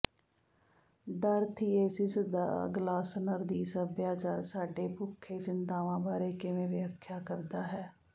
ਡਰ ਥੀਏਸਿਸ ਦਾ ਗਲਾਸਨਰ ਦੀ ਸੱਭਿਆਚਾਰ ਸਾਡੀ ਭੁੱਖੇ ਚਿੰਤਾਵਾਂ ਬਾਰੇ ਕਿਵੇਂ ਵਿਆਖਿਆ ਕਰਦਾ ਹੈ